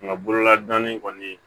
Nka bololadonnin kɔni